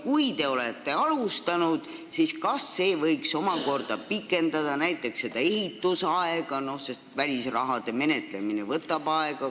Kui te olete alustanud, siis kas ei võiks omakorda pikendada näiteks seda ehitusaega, sest välisrahade menetlemine võtab aega?